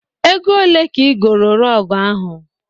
Ego olee ka ị goro rọgụ ahụ?